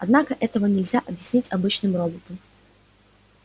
однако этого нельзя объяснить обычным роботам